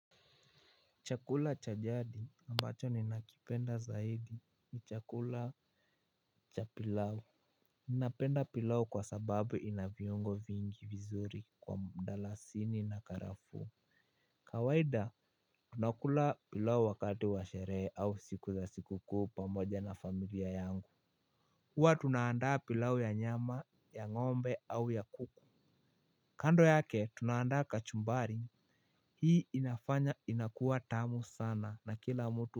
Chakula cha jadi ambacho ninakipenda zaidi ni chakula cha pilau. Napenda pilau kwa sababu ina viungo vingi vizuri kwa mdalasini na karafuu. Kawaida tunakula pilau wakati wa sherehe au siku za sikukuu pamoja na familia yangu huwa tunaandaa pilau ya nyama ya ngombe au ya kuku. Kando yake tunaandaa kachumbari. Hii inafanya inakuwa tamu sana na kila mtu.